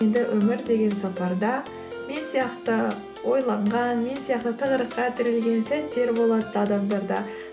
енді өмір деген сапарда мен сияқты ойланған мен сияқты тығырыққа тірелген сәттер болады адамдарда